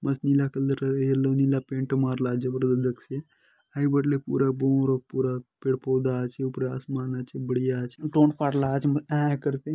मस्त नीला कलर ए येलो नीला पैंट मार